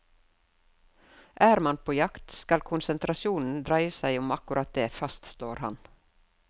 Er man på jakt, skal konsentrasjonen dreie seg om akkurat det, fastslår han.